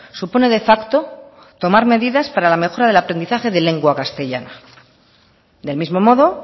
supone de facto tomar medidas para la mejora del aprendizaje de lengua castellana del mismo modo